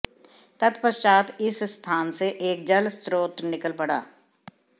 तत्पश्चात इस स्थान से एक जल स्रोत निकल पड़ा